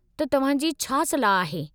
त, तव्हां जी छा सलाह आहे?